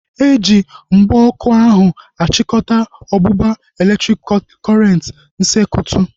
Eji ihe mgba ọkụ ahu achikọta ọgbụgba elektriki kọrenti n'sekutu